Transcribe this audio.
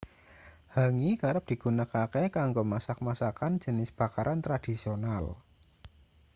hangi kerep digunakake kanggo masak masakan jenis bakaran tradisional